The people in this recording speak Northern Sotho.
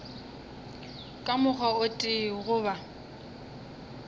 ka mokgwa o tee goba